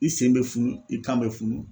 I sen bɛ funu i kan bɛ funu